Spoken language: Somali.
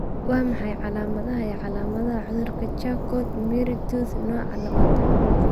Waa maxay calaamadaha iyo calaamadaha cudurka Charcot Marie Tooth nooca labatanaad?